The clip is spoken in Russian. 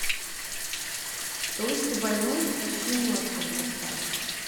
толстый больной и почти мертвый поставь